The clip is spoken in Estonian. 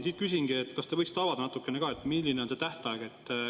Siit küsingi, et kas te võiksite avada natukene, milline on see tähtaeg.